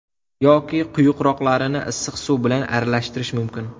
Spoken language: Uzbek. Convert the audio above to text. Yoki quyuqroqlarini issiq suv bilan aralashtirish mumkin.